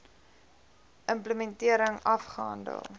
im plementering afgehandel